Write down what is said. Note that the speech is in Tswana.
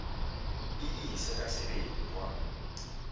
e ise ka sebelel kwa